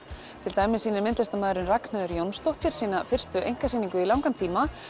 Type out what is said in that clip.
til dæmis sýnir myndlistarmaðurinn Ragnheiður Jónsdóttir sína fyrstu einkasýningu í langan tíma